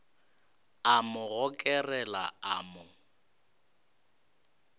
a mo gokarela a mo